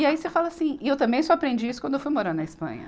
E aí você fala assim, e eu também só aprendi isso quando eu fui morar na Espanha.